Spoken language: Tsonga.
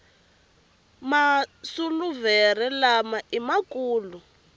masuluvere lama ima kulu